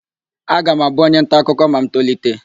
Aga m abụ onyentaakụkọ ma m tolite.